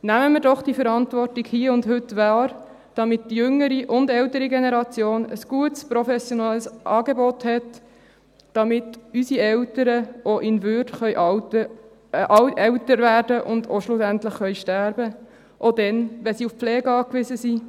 Nehmen wir doch diese Verantwortung hier und heute wahr, damit die jüngere und die ältere Generation ein gutes professionelles Angebot hat, damit unsere Eltern auch in Würde älter werden und schlussendlich sterben können, auch dann, wenn sie auf Pflege angewiesen sind.